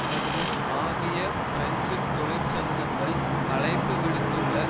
மற்றும் ஆகிய பிரெஞ்சு தொழிற்சங்கங்கள் அழைப்பு விடுத்துள்ள